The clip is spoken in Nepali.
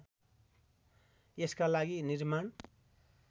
यसका लागि निर्माण